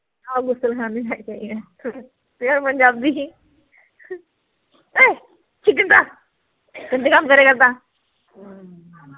ਹਾਂ ਗੁਸਲਖਾਨੇ ਜਾ ਕੇ ਆਏ pure ਪੰਜਾਬੀ ਚ ਹੀ ਇਹ ਗੰਦੇ ਕੰਮ ਕਰਿਆ ਕਰਦਾ